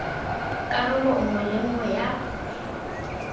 karolo nngwe le nngwe ya